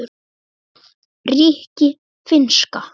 rikki- finnska